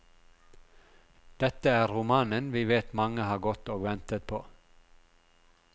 Dette er romanen vi vet mange har gått og ventet på.